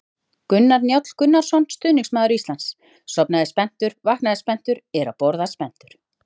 Gunnar Njáll Gunnarsson, stuðningsmaður Íslands: Sofnaði spenntur, vaknaði spenntur, er að borða spenntur!